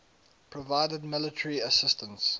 provided military assistance